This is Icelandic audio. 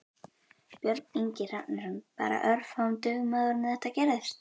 Björn Ingi Hrafnsson: Bara örfáum dögum áður en þetta gerðist?